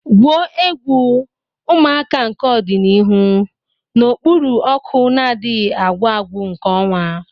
Gwuo egwu, ụmụaka nke ọdịnihu, n'okpuru ọkụ na-adịghị agwụ agwụ nke ọnwa.